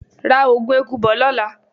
Ra Ògùn eku bo lóla!